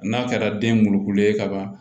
N'a kɛra denkulu ye ka ban